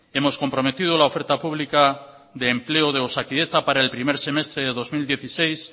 hemos comprometido la oferta pública de empleo de osakidetza para el primer trimestre del dos mil dieciséis